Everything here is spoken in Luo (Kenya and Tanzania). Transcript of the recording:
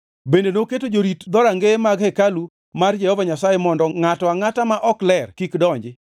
Bende noketo jorit dhoudi e rangeye mag hekalu mar Jehova Nyasaye mondo ngʼato angʼata ma ok ler kik donji.